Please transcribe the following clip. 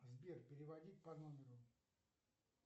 сбер переводить по номеру